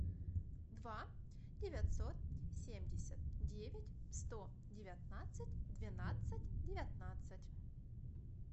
два девятьсот семьдесят девять сто девятнадцать двенадцать девятнадцать